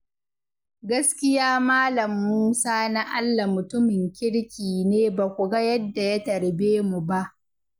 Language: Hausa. Gaskiya Mal. Musa Na'allah mutumin kirki ne ba ku ga yadda ya tarbe mu ba.